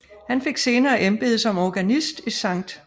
Han fik senere embede som organist i St